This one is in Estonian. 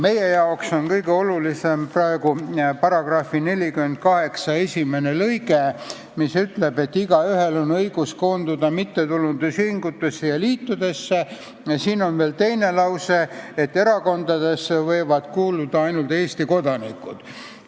Meile on praegu kõige olulisem § 48 esimene lõige, mis ütleb, et igaühel on õigus koonduda mittetulundusühingutesse ja -liitudesse, ja siin on veel teine lause, et erakondadesse võivad kuuluda ainult Eesti kodanikud.